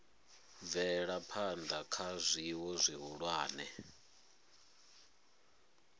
bvela phana kha zwiwo zwihulwane